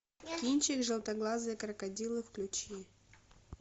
кинчик желтоглазые крокодилы включи